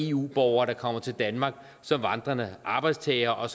eu borgere der kommer til danmark som vandrende arbejdstagere og